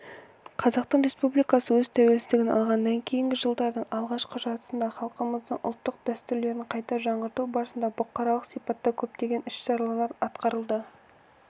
қазақстан республикасы өз тәуелсіздігін алғаннан кейін жылдардың алғашқы жартысында халқымыздың ұлттық дәстүрлерін қайта жаңғырту барысында бұқаралық сипатта көптеген іс-шаралар атқарылды